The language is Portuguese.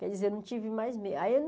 Quer dizer, não tive mais me aí